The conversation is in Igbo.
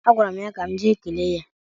A gwara m ya ka m jee kelee ya.